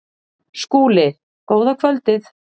SKÚLI: Góða kvöldið!